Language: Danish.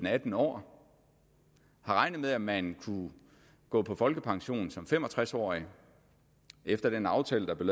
atten år har regnet med at man kunne gå på folkepension som fem og tres årig efter den aftale der er